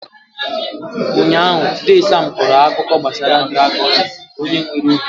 Ụnyaahụ, dee Sam kọrọ akụkọ gbasara dràgọn na onye nwere obi ike.